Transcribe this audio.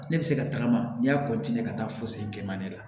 Ne bɛ se ka tagama n'i y'a ka taa fo sen kɛ man di la